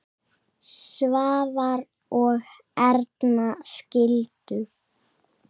Svavar og Erna skildu.